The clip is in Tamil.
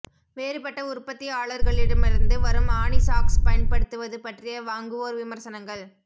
வேறுபட்ட உற்பத்தியாளர்களிடமிருந்து வரும் ஆணி சாக்ஸ் பயன்படுத்துவது பற்றிய வாங்குவோர் விமர்சனங்கள்